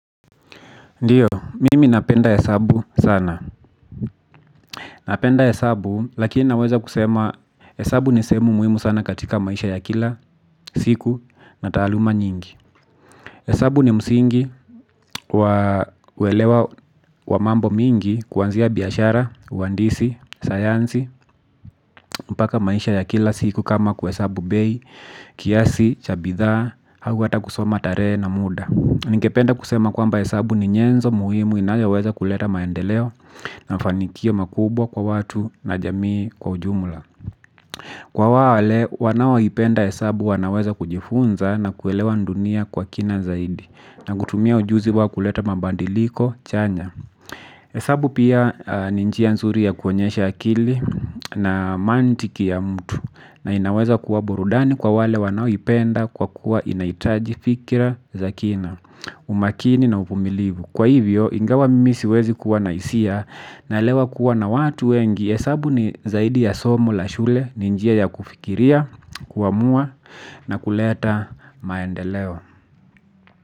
Ndiyo, mimi napenda hesabu sana. Napenda hesabu, lakini naweza kusema hesabu ni sehemu muhimu sana katika maisha ya kila, siku, na taaluma nyingi. Hesabu ni msingi wa uwelewa wa mambo mingi kuanzia biashara, uhandisi, sayansi, mpaka maisha ya kila siku kama kuhesabu bei, kiasi, cha bidhaa, au hata kusoma tarehe na muda. Ningependa kusema kwamba hesabu ni nyenzo muhimu inayoweza kuleta maendeleo na fanikio makubwa kwa watu na jamii kwa ujumula. Kwa wale wanao ipenda hesabu wanaweza kujifunza na kuelewa dunia kwa kina zaidi na kutumia ujuzi wa kuleta mabadiliko chanya. Hesabu pia ni njia nzuri ya kuonyesha akili na mantiki ya mtu na inaweza kuwa burudani kwa wale wanao ipenda kwa kuwa inahitaji fikira za kina. Umakini na uvumilivu kwa hivyo ingawa mimi siwezi kuwa na hisia. Naelewa kuwa na watu wengi hesabu ni zaidi ya somo la shule. Ni njia ya kufikiria kuamua na kuleta maendeleo.